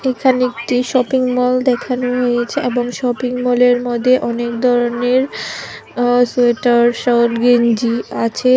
এখানে একটি shopping mall দেখানো হয়েছে এবং শপিং মলের মধ্যে অনেক ধরনের আ সোয়েটার সহ গেঞ্জি আছে।